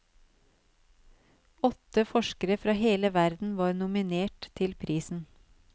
Åtte forskere fra hele verden var nominert til prisen.